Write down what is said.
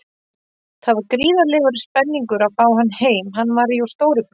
Það var gríðarlegur spenningur að fá hann heim, hann var jú stóri bróðir.